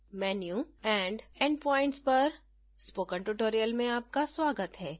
menu and endpoints पर spoken tutorial में आपका स्वागत है